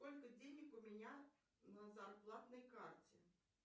сколько денег у меня на зарплатной карте